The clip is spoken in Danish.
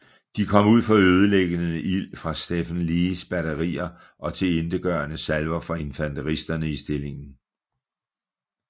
De kom ud for ødelæggende ild fra Stephen Lees batterier og tilintetgørende salver fra infanteristerne i stillingen